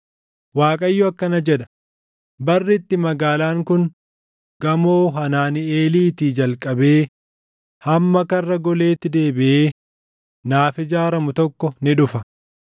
Waaqayyo akkana jedha: “Barri itti magaalaan kun gamoo Hanaaniʼeeliitii jalqabee hamma Karra Goleetti deebiʼee naaf ijaaramu tokko ni dhufa.